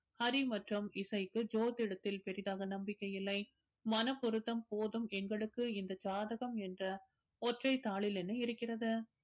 ஹரி மற்றும் இசைக்கு ஜோதிடத்தில் பெரிதாக நம்பிக்கை இல்லை மனப் பொருத்தம் போதும் எங்களுக்கு இந்த ஜாதகம் என்ற ஒற்றைத் தாளில் என்ன இருக்கிறது